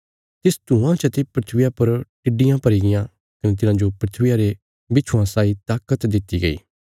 तिस धुआँ चते धरतिया पर टिड्डियां भरीगियां कने तिन्हांजो धरतिया रे बिच्छुये साई ताकत दित्ति गई